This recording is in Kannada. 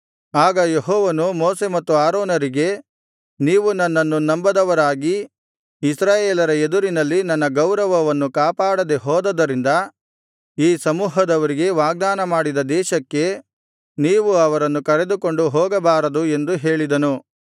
ಆಗ ಯೆಹೋವನು ಮೋಶೆ ಮತ್ತು ಆರೋನರಿಗೆ ನೀವು ನನ್ನನ್ನು ನಂಬದವರಾಗಿ ಇಸ್ರಾಯೇಲರ ಎದುರಿನಲ್ಲಿ ನನ್ನ ಗೌರವವನ್ನು ಕಾಪಾಡದೆ ಹೋದುದರಿಂದ ಈ ಸಮೂಹದವರಿಗೆ ವಾಗ್ದಾನಮಾಡಿದ ದೇಶಕ್ಕೆ ನೀವು ಅವರನ್ನು ಕರೆದುಕೊಂಡು ಹೋಗಬಾರದು ಎಂದು ಹೇಳಿದನು